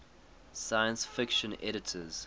science fiction editors